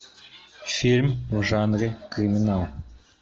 фильм в жанре криминал